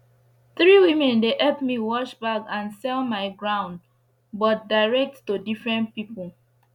three women dey epp me wash bag and sell my ground but direct to different pipu